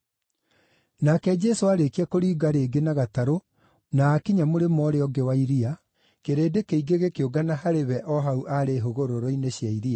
Nake Jesũ aarĩkia kũringa rĩngĩ na gatarũ na aakinya mũrĩmo ũrĩa ũngĩ wa iria, kĩrĩndĩ kĩingĩ gĩkĩũngana harĩ we o hau aarĩ hũgũrũrũ-inĩ cia iria.